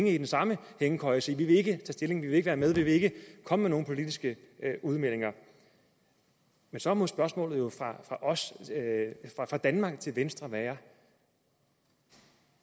i den samme hængekøje og sige vi vil ikke stilling vi vil ikke være med vi vil ikke komme med nogle politiske udmeldinger men så må spørgsmålet fra danmark til venstre være